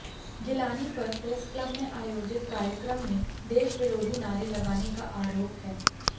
गिलानी पर press club में आयोजित कार्यक्रम में देशविरोधी नारे लगाने का आरोप है